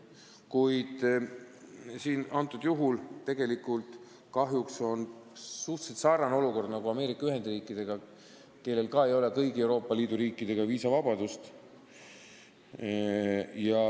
Kahjuks on see suhteliselt sarnane olukord, nagu on suhetes Ameerika Ühendriikidega, kellel ka ei ole kõigi Euroopa Liidu riikidega viisavabadust.